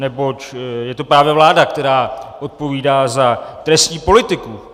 Neboť je to právě vláda, která odpovídá za trestní politiku.